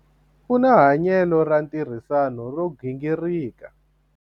u na hanyelo ra ntirhisano ro gingirika